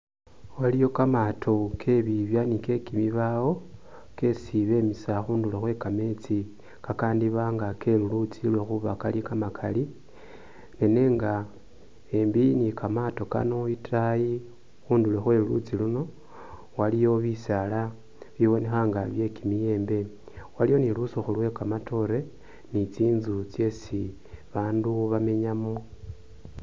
Waliyo kamat, ao kebibya ni ke bibaawo kesi bemisa khundulo khwe kameetsi kakandiiba nga kelulutsi khuba kali kamakali ne nenga embi ni kamaato kano itaayi khundulo khwe lulutsi luno waliyo bisaala bibonekha nga bye kimiyembe waliwo ni lusikhu lwe kamatoore ni tsinzu tsesi babandu bamenyamo.